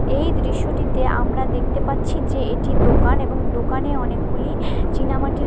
এই দৃশ্যটিতে আমরা দেখতে পাচ্ছি যে এটি দোকান এবং দোকানে অনেকগুলি চীনা মাটির--